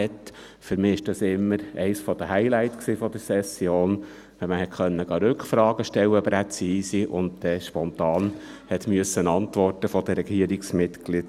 Für mich war es immer eines der Highlights der Session, wenn man präzise Rückfragen stellen konnte und die Regierungsmitglieder spontan antworten mussten.